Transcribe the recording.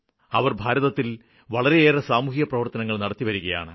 അവര് ഭാരതത്തില് വളരെയേറെ സാമൂഹ്യപ്രവര്ത്തനങ്ങള് നടത്തിവരുകയാണ്